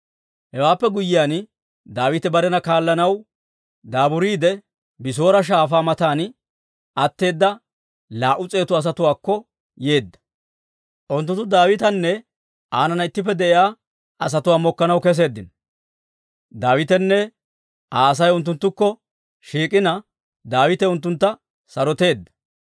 Hewaappe guyyiyaan, Daawite barena kaallanaw daaburiide, Bisoora Shaafaa matan atteeda laa"u s'eetu asatuwaakko yeedda. Unttunttu Daawitanne aanana ittippe de'iyaa asatuwaa mokkanaw keseeddino; Daawitenne Aa Asay unttunttukko shiik'ina, Daawite unttuntta saroteedda.